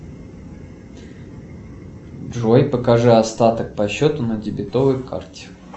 джой покажи остаток по счету на дебетовой карте